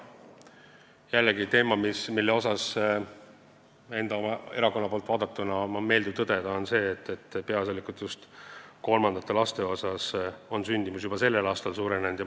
See on jällegi teema, mille puhul on enda erakonna poolt vaadatuna meeldiv tõdeda, et peaasjalikult just kolmandate laste sündimus on juba sellel aastal suurenenud.